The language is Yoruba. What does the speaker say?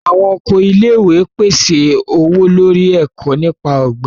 Awọn oko ilé-ìwé pèsè ọwọ-lori eko nípa ogbin.